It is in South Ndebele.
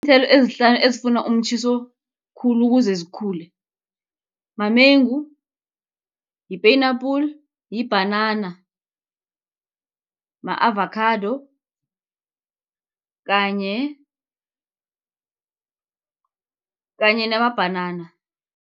Iinthelo ezihlanu ezifuna umtjhiso khulu ukuze zikhule, mamengu, yi-peyina-apple, yibhanana, ma-avakhado, kanye namabhanana.